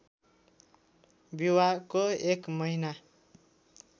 विवाहको एक महिना